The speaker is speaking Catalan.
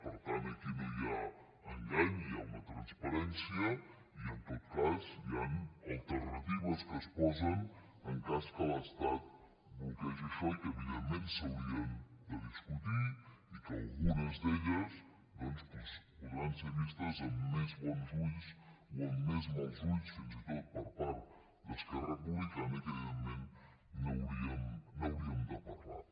per tant aquí no hi ha engany hi ha una transparència i en tot cas hi han alternatives que es posen en cas que l’estat bloquegi això i que evidentment s’haurien de discutir i que algunes d’elles doncs podran ser vistes amb més bons ulls o amb més mals ulls fins i tot per part d’esquerra republicana i que evidentment n’hauríem de parlar